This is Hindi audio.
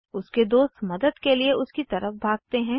उसके दोस्त मदद के लिए उसकी तरफ भागते हैं